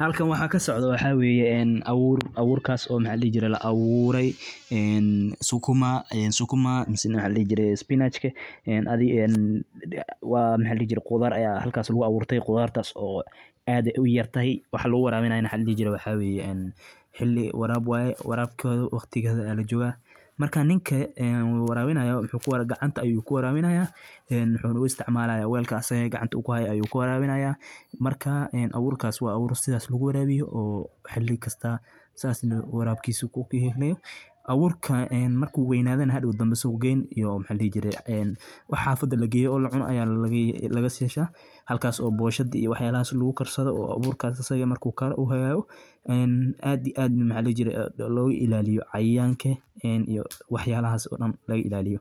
Halkaan waxa kasocdo waxa weeye abuur. Abuurkasi o maxa ladihi jiray La abuuray Sukuma Sukuma mise maxa ladihi jiray Spinach ka adi en maxa ladihi jiray qudaar aya halkas lagu abuurtay cudartas o ad uyartahay waxa lagu warabinaayo maxa ladihi jiray xili waraab waya warabkoda waqtigeda aya lajoga marka ninka warabinayo muxu kuwarabinayo gacanta ayu ayu kuwarabinaya en wuxuna u isticmalaya weelka asaga gacanta kuhaya ayu kuwarabinaya marka aburkasi wa abuur sidas lagu warabiyo o xili kasta sasna warabkisa kuqimeyo abuurka marka weynadana hadow suuq geyn iyo maxa ladihi jiray wax xafada lageeyo o lacuna aya laga yesha halakasi o Boshada iyo waxyalahas lagukarsado o aburkas asaga marku kara u hagago en ad iyo ad maxa ladihijiray loga ilaliyo Cayayanka iyo wax yala has daan laga ilaliyo